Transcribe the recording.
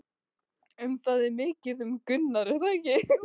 En það er mikið um reykskemmdir er það ekki?